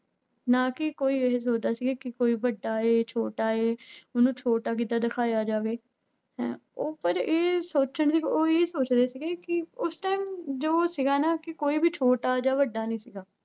ਨਾ ਕਿ ਕੋਈ ਇਹ ਸੋਚਦਾ ਸੀਗਾ ਕਿ ਕੋਈ ਵੱਡਾ ਜਾਂ ਛੋਟਾ ਹੈ ਉਹਨੂੰ ਛੋਟਾ ਕਿੱਦਾਂ ਦਿਖਾਇਆ ਜਾਵੇ ਹੈਂ, ਉਹ ਪਰ ਇਹ ਸੋਚਦੇ ਉਹ ਇਹ ਸੋਚਦੇ ਸੀਗੇ ਕਿ ਉਸ time ਜੋ ਸੀਗਾ ਨਾ ਕਿ ਕੋਈ ਵੀ ਛੋਟਾ ਜਾਂ ਵੱਡਾ ਨੀ ਸੀਗਾ